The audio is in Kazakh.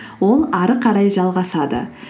ол әрі қарай жалғасады